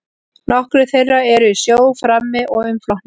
Nokkrir þeirra eru í sjó frammi og umflotnir.